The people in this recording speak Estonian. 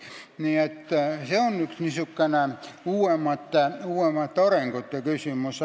Nii et see on üks uuemate arengute küsimusi.